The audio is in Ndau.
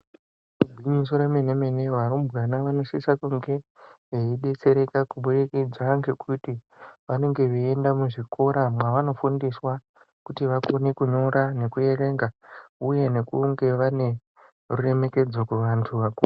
Igwinyiso re mene mene varumbwana vano sisa kunge vei detsereka ku budikidza ngekuti vanenge vei enda ku zvikora mwa vano fundiswa kuti vakone kunyora neku erenga uye nekunge vane ru remekedzo ku vantu vakuru.